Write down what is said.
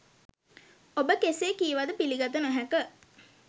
ඔබ කෙසේ කීවද පිළිගත නොහැක.